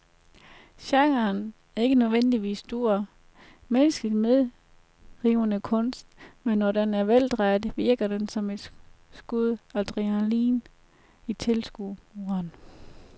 Genren er ikke nødvendigvis stor, menneskeligt medrivende kunst, men når den er veldrejet, virker den som et skud adrenalin i tilskueren.